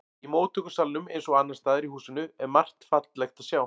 Í móttökusalnum eins og annars staðar í húsinu er margt fallegt að sjá.